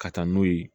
Ka taa n'u ye